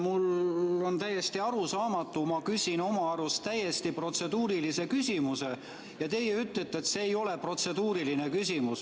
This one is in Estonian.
Mulle on täiesti arusaamatu see, et ma küsin oma arust täiesti protseduurilise küsimuse, aga teie ütlete, et see ei ole protseduuriline küsimus.